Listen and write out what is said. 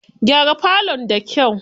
Gyara falon da kyau.